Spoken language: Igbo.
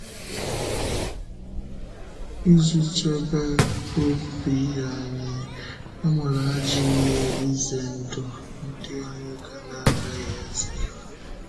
Ịji chebe ọ̀bì anyị, e nwere àjọ ihe ize ndụ ndị anyị na-agaghị izere.